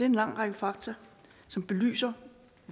en lang række fakta som belyser